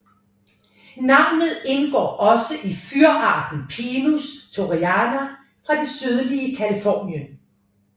Navnet indgår også i fyrarten Pinus torreyana fra det sydlige Californien